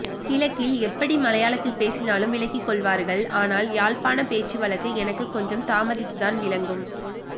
கிழக்கில் எப்படி மலையாளத்தில் பேசினாலும் விளங்கிக்கொள்வார்கள் ஆனால் யாழ்ப்பாண பேச்சு வழக்கு எனக்கு கொஞ்சம் தாமதித்து தான் விளங்கும்